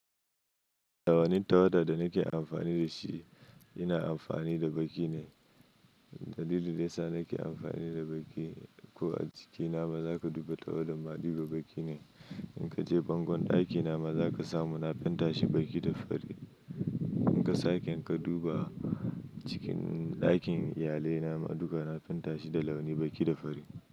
Tawani tawada da nake amfani da shi, ina amfani da baki ne. Dalilin da yasa nake amfani da baki, ko a jikina baza ka dubi tawadan ma dubi baki ne. In ka je bangon ɗakina ma za ka samu na fenta shi baki da fari. In ka sake ka duba a cikin ɗakin iyalai na ma duka na fenta shi da launi baki da fari.